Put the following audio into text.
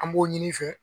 An b'o ɲini i fɛ